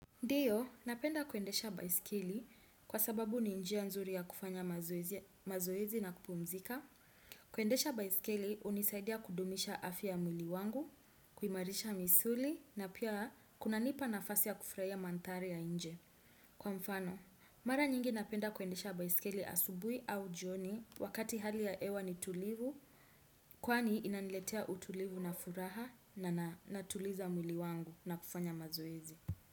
Ndiyo, napenda kuendesha baiskeli kwa sababu ni njia nzuri ya kufanya mazoezi na kupumzika. Kuendesha baiskeli hunisaidia kudumisha afya ya mwili wangu, kuimarisha misuli na pia kunanipa nafasi ya kufurahia mandhari ya nje. Kwa mfano, mara nyingi napenda kuendesha baiskeli asubuhi au jioni wakati hali ya hewa ni tulivu, kwani inaniletea utulivu na furaha na natuliza mwili wangu na kufanya mazoezi.